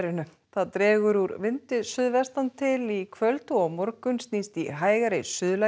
það dregur úr vindi suðvestan til í kvöld og á morgun snýst í hægari